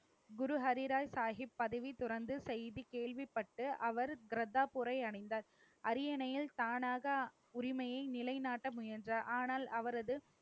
குரு ஹரிராய் சாகிப் பதவி துறந்து, செய்தி கேள்விப்பட்டு அவர் கிரதாபூரை அடைந்தார் அரியணையில் தானாக உரிமையை நிலைநாட்ட முயன்றார். ஆனால், அவரது